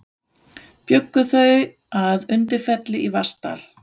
Bjuggu þau að Undirfelli í Vatnsdal.